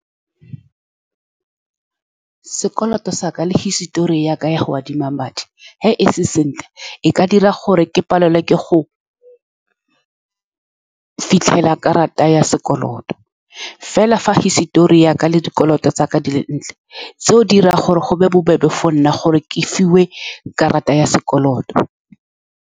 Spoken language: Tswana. Sekoloto sa ka le hisitori ya ka ya go adima madi, fa e se sentle, e ka dira gore ke palelwe ke go fitlhelela karata ya sekoloto. Fela fa hisitori ya ka le dikoloto tsa ka di le dintle, seo se dira gore go be bobebe gore ke fiwe karata ya sekoloto.